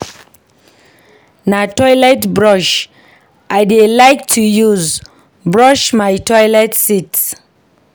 Na toilet brush I dey like to use brush my toilet seat.